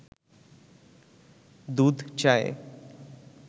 দুধ চায়ে